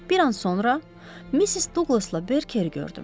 Bir an sonra Missis Duqlasla Berkeri gördüm.